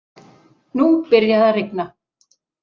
Nú byrjaði að rigna.